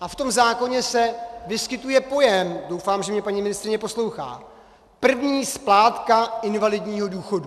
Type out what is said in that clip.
A v tom zákoně se vyskytuje pojem - doufám, že mě paní ministryně poslouchá - první splátka invalidního důchodu.